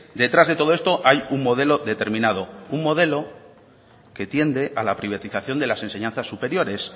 detrás de todo esto hay un modelo determinado un modelo que tiende a la privatización de las enseñanzas superiores